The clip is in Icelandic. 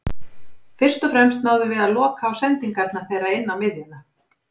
Fyrst og fremst náðum við að loka á sendingarnar þeirra inná miðjuna.